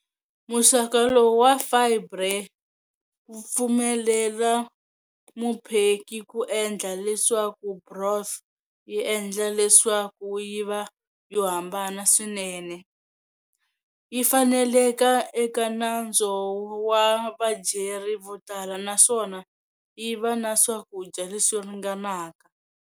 Muxaka lowu wa fibre wu pfumelela mupheki ku endla leswaku broth yi endla leswaku yiva yohambana swinene, yifaneleka eka nantswo wa vadyeri votala naswona yiva na swakudya leswi ringanaka.